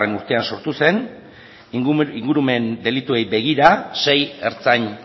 urtean sortu zen ingurumen delituei begira sei ertzain